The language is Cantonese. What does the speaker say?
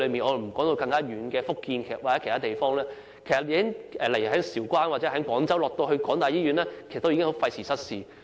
我暫且不提述偏遠的福建或其他地方，例如從韶關或廣州前往該所香港大學營運的醫院已廢時失事。